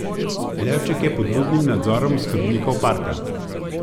Levček je pod budnim nadzorom oskrbnikov parka.